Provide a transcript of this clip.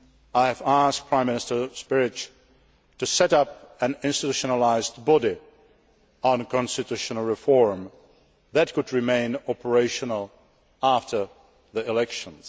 I have asked Prime Minister Špirić to set up an institutionalised body on constitutional reform that could remain operational after the elections.